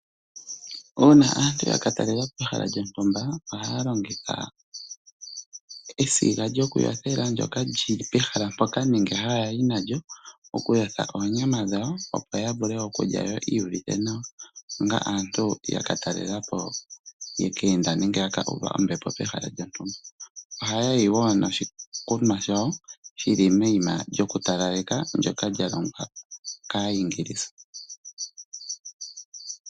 Uuna aantu ya katalelapo ehala lyontumba ohaya longitha esiga lyokuyothela ndyoka lyili pehala mpoka nenge hayayi nalyo. Elalakano okulya yo yiiyuvithe nawa onga aantu yeluuva ombepo pehala lyontumba. Oha yayi wo niikunwa yawo yili moshima shokutalaleka shoka shalongwa kaaEnglisa.